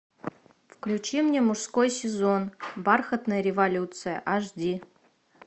включи мне мужской сезон бархатная революция аш ди